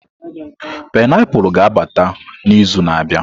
painiapulu ga-abata n'izu na-abịa.